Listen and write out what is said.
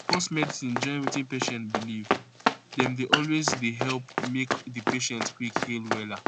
pause medicine join wetin patient believe dem dey always dey help make di patient quick heal wella